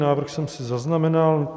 Návrh jsem si zaznamenal.